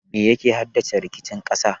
Me yake haddasa rikicin ƙasa?